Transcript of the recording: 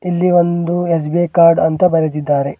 ಇಲ್ಲಿ ಒಂದು SBI card ಅಂತ ಬರೆದಿದ್ದಾರೆ.